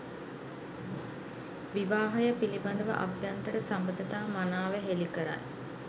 විවාහය පිළිබඳව අභ්‍යන්තර සබඳතා මනාව හෙළිකරයි.